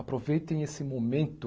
Aproveitem esse momento